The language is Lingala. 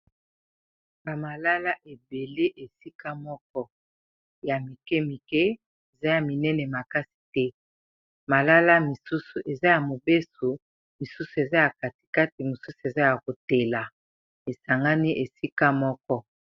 ba malala ebele esika moko ya mike mike eza ya minene makasi te malala misusu eza ya mobeso misusu eza ya katikati mosusu eza ya kotela esangani esika moko